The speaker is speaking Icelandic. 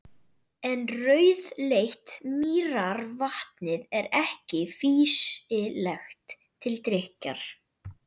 En rauðleitt mýrarvatnið er ekki fýsilegt til drykkjar.